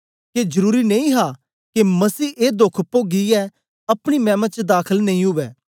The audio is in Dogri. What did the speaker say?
के जरुरी नेई हा के मसीह ए दोख पोगीयै अपनी मैमा च दाखल नेई उवै